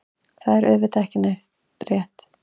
Það er auðvitað ekki rétt.